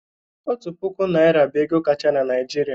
Otu puku naira bụ ego kacha na Naijiria.